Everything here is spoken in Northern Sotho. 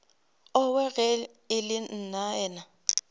owe ge e le nnaena